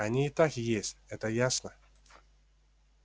они и так есть это ясно